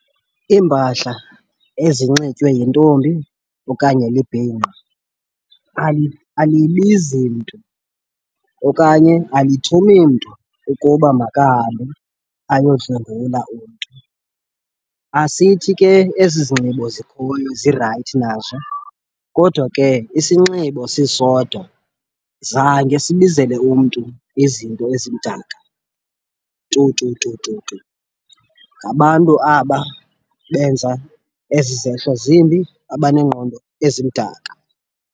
Iimpahla ezinxitywa yintombi okanye libhinqa alibizi mntu okanye alithumi mntu ukuba makahambe ayodlwengula umntu. Asithi ke ezi zinxibo zikhoyo zirayithi nazo kodwa ke isinxibo sisodwa zange sibizele umntu izinto ezimdaka tu tu tu tu tu. Ngabantu aba benza ezi zehlo zimbi abaneengqondo ezimdaka.